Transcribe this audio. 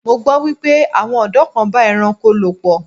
Mo gbọ́ wípé àwọn ọ̀dọ́ kan ń bá ẹranko lò pọ̀.